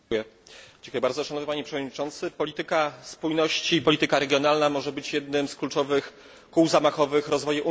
Szanowny panie przewodniczący! Polityka spójności, polityka regionalna może być jednym z kluczowych kół zamachowych rozwoju Unii Europejskiej.